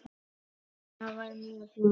Það var mjög flott.